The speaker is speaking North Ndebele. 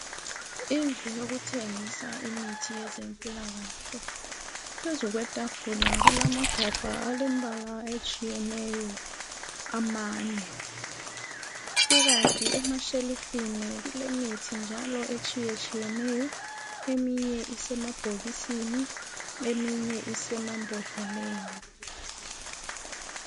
indlu yokuthengisa imihi yezempilakahle phezukwetafula kulamagabha alempala etshiyeneyo amane ukanti ematshelifini kulemithi njalo etshiyetshiyeneyo eyinye isemabhokisini eyinye isemabhodleleni